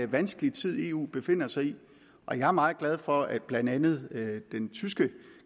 vanskelig tid eu befinder sig i og jeg er meget glad for at blandt andet den tyske